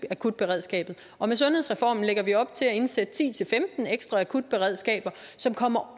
akutberedskabet og med sundhedsreformen lægger vi op til at indsætte ti til femten ekstra akutberedskaber som kommer